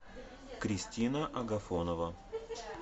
кристина агафонова